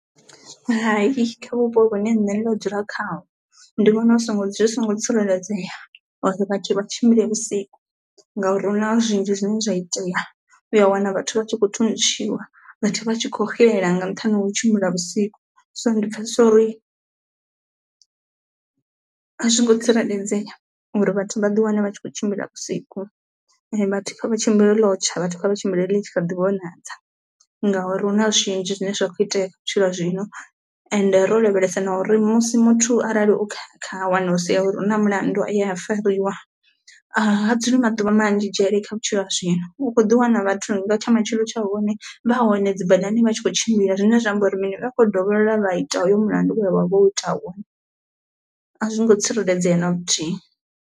Hai kha vhupo vhune nṋe nda dzula khaho ndi vhona zwi songo zwi songo tsireledzea uri vhathu vha tshimbile vhusiku ngauri huna zwinzhi zwine zwa itea u a wana vhathu vha tshi khou thuntshiwa, vhathu vha tshi kho xela nga nṱhani ha u tshimbila vhusiku, so ndi pfhesesa uri a zwi ngo tsireledzea uri vhathu vha ḓi wane vha tshi kho tshimbila vhusiku. Vhathu vha tshimbile ḽotsha vhathu vha tshimbila ḽi tshi kha ḓi vhonadza ngauri huna zwinzhi zwine zwa kho itea kha vhutshilo ha zwino ende ro lavhelesa na uri musi muthu arali o kha wanulusea uri hu na mulandu a ya fariwa ha dzuli maḓuvha manzhi dzhele kha vhutshilo ha zwino, u khoḓi wana vhathu nga tsha matshelo tsha hone vha hone dzi badani vha tshi kho tshimbila zwine zwa amba uri mini vha khou yo dovholola vha ita hoyo mulandu we vha vha vho ita wone, a zwi ngo tsireledzea na luthihi.